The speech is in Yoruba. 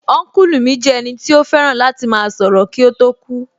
Ọ́nkùlù mi jẹ́ ẹnì tí ó fẹ́ràn láti máa sọ̀rọ̀ kí ó tó kú